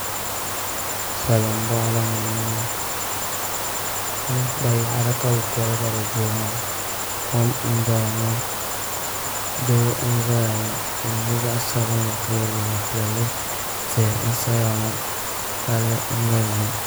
Salin boɣali ni n boŋo yaɣari ka bi kurigiri durina kom n doya ŋo doo n ʒɛya ŋo o nyɛla zaɣ sabinli ka yɛ liiga piɛlli tihi n saya ŋo palli n doya ŋo